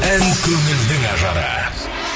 ән көңілдің ажары